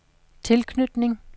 tilknytning